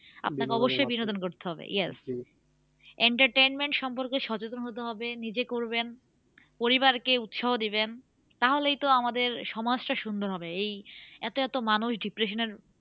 আপনাকে অবশ্যই বিনোদন করতে হবে yes entertainment সম্পর্কে সচেতন হতে হবে নিজে করবেন পরিবারকে উৎসাহ দেবেন তাহলেই তো আমাদের সমাজটা সুন্দর হবে এই এতো এতো মানুষ depression এর